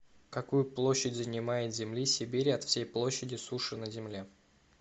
какую площадь занимают земли сибири от всей площади суши на земле